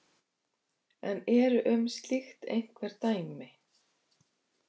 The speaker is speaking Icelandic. En eru um slíkt einhver dæmi?